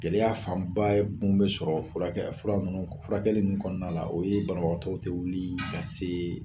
Gɛlɛya fanba ye n bɛ sɔrɔ furakɛ fura munnu k furakɛli min kɔɔna la o ye banabagatɔw te wilii ka see